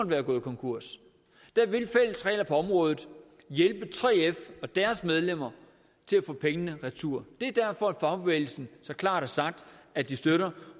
være gået konkurs vil fælles regler på området hjælpe 3f og deres medlemmer til at få pengene retur det er derfor fagbevægelsen så klart har sagt at de støtter